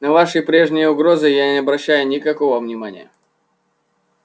на ваши прежние угрозы я не обращаю никакого внимания